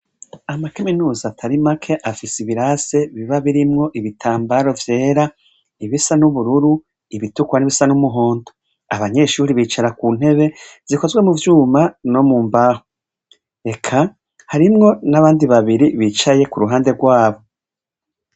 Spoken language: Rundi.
Ama kaminuza atari make afise ibirasi biba birimwo ibitambaro vyera, ibisa n'ubururu, ibitukura n'ibisa n'umuhondo. Abanyeshure bicara ku ntebe, zikozwe mu vyuma no mu mbaho. Eka harimwo n'abandi babiri bicaye ku ruhande rwabo.